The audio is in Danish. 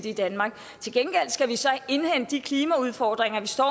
i danmark til gengæld skal vi så indhente de klimaudfordringer vi står